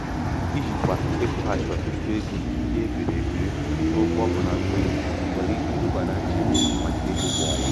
ijikwa ịkwụghachi ọtụtụ ego ndị e biri ebi na ụgwọ ọkụ na mmiri nwere ike iduba na nchegbu maka ego kwa ọnwa.